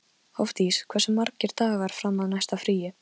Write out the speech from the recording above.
Hofdís, hversu margir dagar fram að næsta fríi?